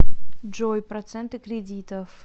джой проценты кредитов